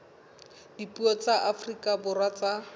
dipuo tsa afrika borwa tsa